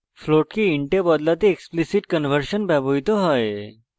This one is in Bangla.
float কে int we বদলাতে explicit conversion ব্যবহৃত হয়